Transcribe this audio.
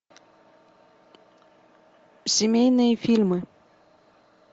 семейные фильмы